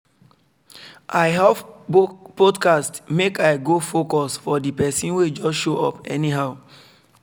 i off podcast make i go focus for the persin wey just show up anyhow